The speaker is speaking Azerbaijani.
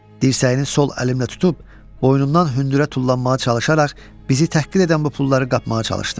Dirsəyini sol əlimlə tutub, boynundan hündürə tullanmağa çalışaraq bizi təhqir edən bu pulları qapmağa çalışdım.